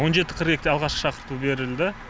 он жеті қырық екіде алғашқы шақырту берілді